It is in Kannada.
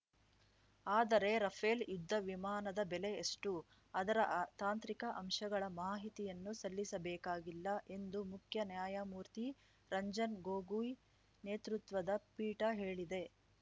ಆದರೆ ರಫೇಲ್‌ ಯುದ್ಧ ವಿಮಾನದ ಬೆಲೆ ಎಷ್ಟು ಅದರ ತಾಂತ್ರಿಕ ಅಂಶಗಳ ಮಾಹಿತಿಯನ್ನು ಸಲ್ಲಿಸಬೇಕಾಗಿಲ್ಲ ಎಂದು ಮುಖ್ಯ ನ್ಯಾಯಮೂರ್ತಿ ರಂಜನ್‌ ಗೊಗೊಯ್‌ ನೇತೃತ್ವದ ಪೀಠ ಹೇಳಿದೆ